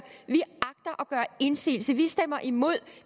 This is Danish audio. vi agter at indsigelse vi stemmer imod